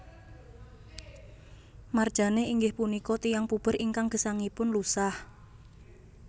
Marjane inggih punika tiyang puber ingkang gesangipun lusah